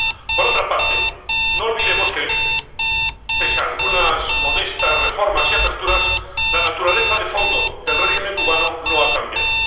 Por otra parte, no olvidemos que, pese a algunas modestas reformas y aperturas, la naturaleza de fondo del régimen cubano no ha cambiado.